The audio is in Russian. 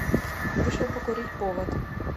вышел покурить повод